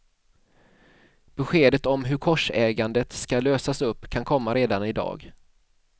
Beskedet om hur korsägandet ska lösas upp kan komma redan i dag.